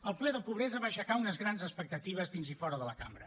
el ple de pobresa va aixecar unes grans expectatives dins i fora de la cambra